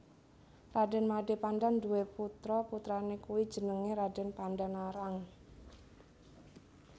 Raden Made Pandan duwe putra putrane kuwi jenenge Raden Pandanarang